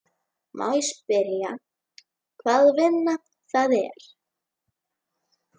Má ég spyrja hvaða vinna það er?